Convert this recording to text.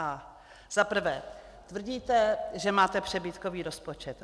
Za prvé tvrdíte, že máte přebytkový rozpočet.